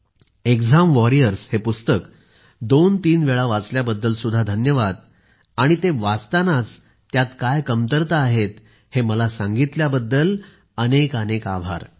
exam warriors हे पुस्तक दोनतीन वेळा वाचल्याबद्दल सुद्धा धन्यवाद आणि वाचतानाच त्यात काय कमतरता आहेत हे मला सांगितल्याबद्दल अनेकानेक आभार